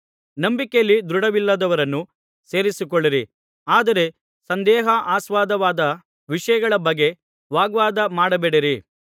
ನಂಬಿಕೆಯಲ್ಲಿ ದೃಢವಿಲ್ಲದವರನ್ನು ಸೇರಿಸಿಕೊಳ್ಳಿರಿ ಆದರೆ ಸಂದೇಹಾಸ್ಪದವಾದ ವಿಷಯಗಳ ಬಗ್ಗೆ ವಾಗ್ವಾದ ಮಾಡಬೇಡಿರಿ